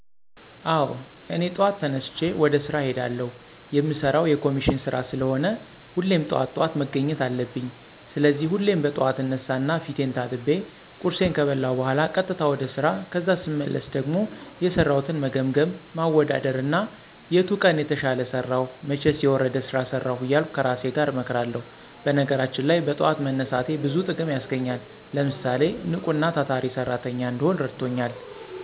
አወ እኔ ጠዋት ተነስቸ ወደ ስራ እሄዳለሁ። የምሰራው የኮሚሽን ስራ ስለሆነ ሁሌም ጠዋት ጠዋት መገኘት አለብኝ። ስለዚህ ሁሌም በጥዋት እነሳና ፊቴን ታጥቤ፣ ቁርሴን ከበላሁ በኋላ ቀጥታ ወደ ስራ ከዛ ስመለስ ደሞ የሰራሁትን መገምገም፣ ማወዳደር እና የቱ ቀን የተሻለ ሰራሁ መቸስ የወረደ ስራ ሰራሁ እያልሁ ከራሴ ጋር እመክራለሁ። በነገራችን ላይ በጥዋት መነሳቴ ብዙ ጥቅም ያስገኘኛል። ለምሳሌ፣ ንቁና ታታሪ ሰራተኛ እንድሆን እረድቶኛል።